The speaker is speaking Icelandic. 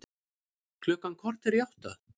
Klukkan korter í átta